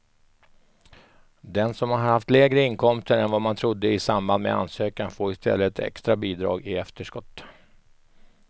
Den som har haft lägre inkomster än vad man trodde i samband med ansökan får i stället ett extra bidrag i efterskott.